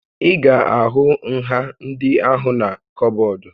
Ị ga-ahụ nha ndị ahụna kọbọd